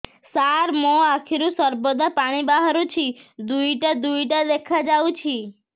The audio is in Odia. ସାର ମୋ ଆଖିରୁ ସର୍ବଦା ପାଣି ବାହାରୁଛି ଦୁଇଟା ଦୁଇଟା ଦେଖାଯାଉଛି